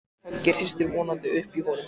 Höggið hristir vonandi upp í honum.